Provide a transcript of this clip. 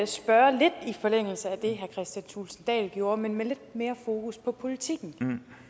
spørge lidt i forlængelse af det kristian thulesen dahl gjorde men med lidt mere fokus på politikken